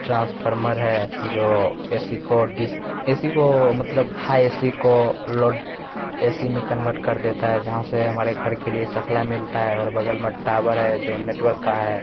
Transformer है जो AC को डि एसी को मलतब हाय एसी को लोड एसी में कन्वर्ट कर देता है जहाँ से हमारे घर के लिए सप्लाई मिलता है और बगल में टावर है जो नेटवर्क का है।